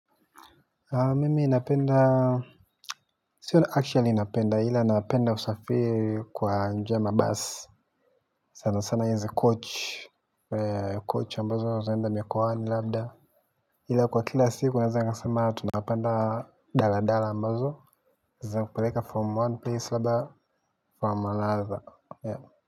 Mimi napenda, sio na actually napenda, hila naapenda usafiri kwa nji ya mabasi. Sana sana hizi coach, coach ambazo zaenda mikowani labda. Hila kwa kila siku naweza nikasema tunapanda dala dala ambazo zinakupeleka from one place labda, from one another.